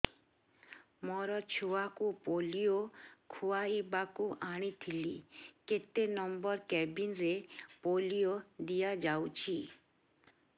ମୋର ଛୁଆକୁ ପୋଲିଓ ଖୁଆଇବାକୁ ଆଣିଥିଲି କେତେ ନମ୍ବର କେବିନ ରେ ପୋଲିଓ ଦିଆଯାଉଛି